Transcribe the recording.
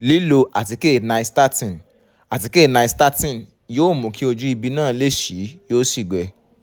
lílò àtíkè nystatin àtíkè nystatin yóò mú kí ojú ibi náà le sí i yóò sì gbẹ